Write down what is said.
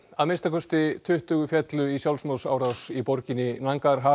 að minnsta kosti tuttugu féllu í sjálfsmorðsárás í borginni